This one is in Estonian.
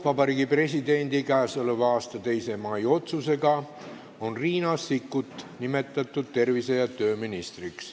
Vabariigi Presidendi k.a 2. mai otsusega on Riina Sikkut nimetatud tervise- ja tööministriks.